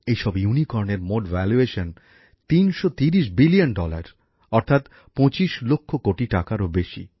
এইসব ইউনিকর্নের মোট নির্ধারিত মূল্য তিনশো তিরিশ বিলিয়ন ডলার অর্থাৎ পঁচিশ লক্ষ কোটি টাকারও বেশি